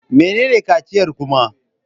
Menene kaciyar kuma?